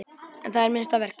En það er minnsta verkið.